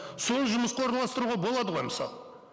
сол жұмысқа орналастыруға болады ғой мысалы